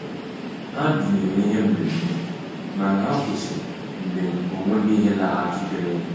Ha binyere ihe mmemme mana ha kwụsịrị mgbe ọ nweghị ihe laghachitere.